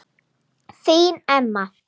Þín Emma.